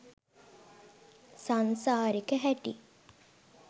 සංසාරෙක හැටි